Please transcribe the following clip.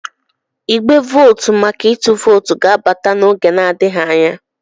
igbe vootu maka ịtụ vootu ga-abata n'oge adịghị anya